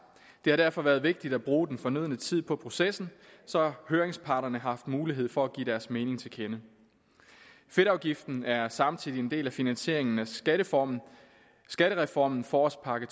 det har derfor været vigtigt at bruge den fornødne tid på processen så høringsparterne har haft mulighed for at give deres mening til kende fedtafgiften er samtidig en del af finansieringen af skattereformen skattereformen forårspakke